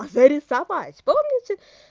зарисовать помните